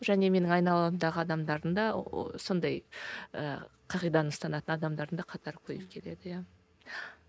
және менің айналамдағы адамдардың да сондай ііі қағиданы ұстанатын адамдардың да қатары көбейіп келеді иә